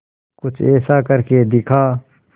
कुछ ऐसा करके दिखा